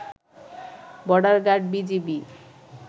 border guard BGB